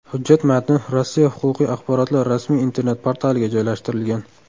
Hujjat matni Rossiya huquqiy axborotlar rasmiy internet-portaliga joylashtirilgan .